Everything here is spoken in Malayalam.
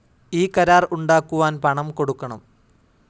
ഈ കരാർ ഉണ്ടാക്കുവാൻ പണം കൊടുക്കണം.